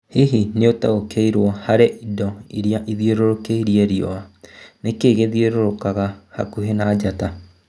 Hihi nĩũtaũkĩtwo harĩ indũ iria ithiũrũrũkĩirie riũa, nĩkĩ gĩthiũrũrũkaga hakuhĩ na njata?